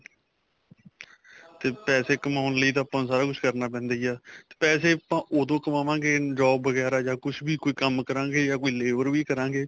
ਤੇ ਪੈਸੇ ਕਮਾਉਣ ਲਈ ਤਾਂ ਆਪਾਂ ਸਾਰਾ ਕੁੱਛ ਹੀ ਕਰਨਾ ਪੈਂਦਾ ਹੀ ਆ ਤੇ ਪੈਸੇ ਆਪਾਂ ਉਦੋਂ ਕਮਾਵਾਗੇ job ਵਗੇਰਾ ਜਾਂ ਕੁੱਛ ਵੀ ਕੋਈ ਕੰਮ ਕਰਾਗੇ ਜਾਂ ਕੋਈ labor ਵੀ ਕਰਾਗੇ